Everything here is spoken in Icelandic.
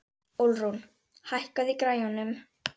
Ölrún, hækkaðu í græjunum.